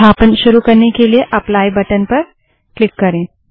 संस्थापन शुरू करने के लिए एप्लाईएप्ली बटन पर क्लिक करें